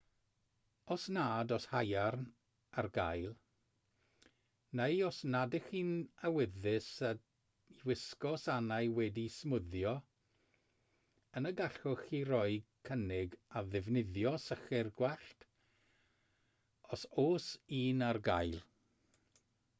os nad oes haearn ar gael neu os nad ydych chi'n awyddus i wisgo sanau wedi'u smwddio yna gallwch chi roi cynnig ar ddefnyddio sychwr gwallt os oes un ar gael